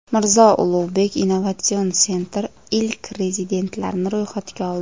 Mirzo Ulugbek Innovation Center ilk rezidentlarni ro‘yxatga oldi.